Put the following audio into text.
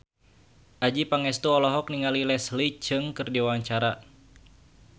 Adjie Pangestu olohok ningali Leslie Cheung keur diwawancara